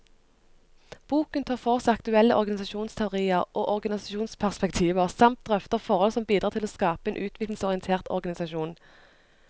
Boken tar for seg aktuelle organisasjonsteorier og organisasjonsperspektiver, samt drøfter forhold som bidrar til å skape en utviklingsorientert organisasjon.